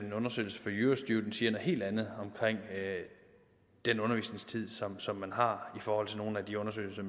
en undersøgelse fra eurostudent siger noget helt andet omkring den undervisningstid som man har i forhold til nogle af de undersøgelser